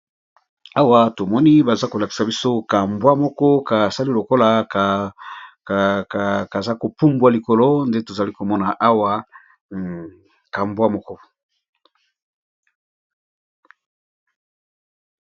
Awa tomoni bazolakisa biso ka mbwa moko kasali lokola kazo pumbwa likolo ndetozali komona awa.